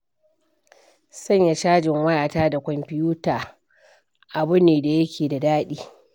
Sanya cajin wayata da kwamfutata abu ne da yake da daɗi.